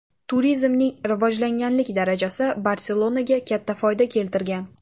Turizmning rivojlanganlik darajasi Barselonaga katta foyda keltirgan.